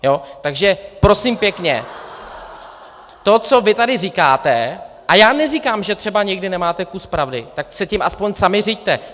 Takže prosím pěkně, to, co vy tady říkáte, a já neříkám, že třeba někdy nemáte kus pravdy, tak se tím aspoň sami řiďte!